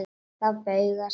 Þá bugast hann.